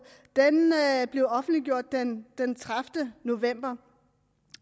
blev offentliggjort den den tredivete november